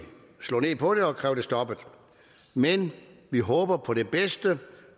slå ned på det og kræve det stoppet men vi håber på det bedste